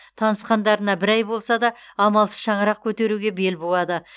танысқандарына бір ай болса да амалсыз шаңырақ көтеруге бел буады